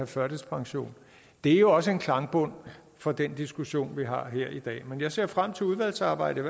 førtidspension det er jo også en klangbund for den diskussion vi har her i dag men jeg ser frem til udvalgsarbejdet